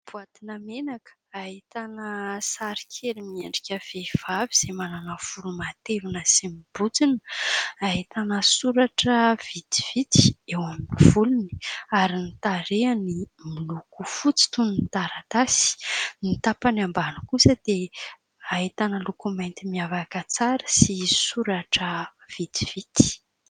Boatina menaka ahitana sary kely miendrika vehivavy izay manana volo matevina sy mibontsina, ahitana soratra vitsivitsy eo amin'ny volony, ary ny tarehiny miloko fotsy toy ny taratasy, ny tapany ambany kosa dia ahitana loko mainty miavaka tsara sy soratra vitsivitsy.